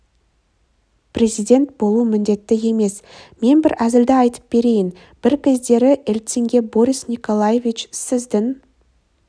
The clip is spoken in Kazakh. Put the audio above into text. президент болу міндетті емес мен бір әзілді айтып берейін бір кездері ельцинге борис николаевич сіздің